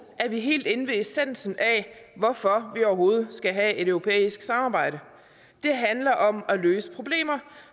er vi helt inde ved essensen af hvorfor vi overhovedet skal have et europæisk samarbejde det handler om at løse problemer